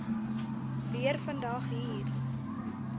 weer vandag hier